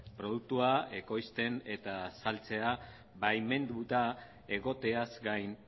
produktua ekoizten eta saltzea baimenduta egoteaz gain